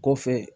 Kɔfɛ